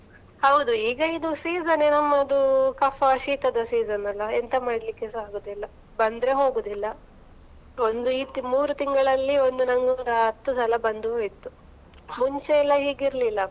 ಹೌದು ಈಗ ಇದು season ನ್ನೆ ಅಲ್ಲ ನಮ್ಮದು ಕಫಾ ಶೀಥದ season ಅಲ್ಲ, ಎಂತಾ ಮಾಡ್ಲಿಕ್ಕೆಸಾ ಆಗೋದಿಲ್ಲ, ಬಂದ್ರೆ ಹೊಗೊದಿಲ್ಲ ಒಂದು ಮೂರೂ ತಿಂಗಳಲ್ಲಿ ಒಂದ್ ಹತ್ತು ಸಲ ಬಂದು ಹೋಯ್ತು, ಮುಂಚೆ ಎಲ್ಲಾ ಹೀಗ್ ಇರ್ಲಿಲ್ಲ ಅಪ್ಪ.